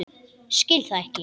Skil það ekki.